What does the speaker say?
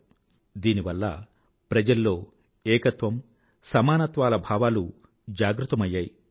కలసికట్టుగా కూర్చుని లంగరు స్వీకరించడం వల్ల ప్రజల్లో ఏకత్వం సమానత్వాల భావాలు జాగృతమైంది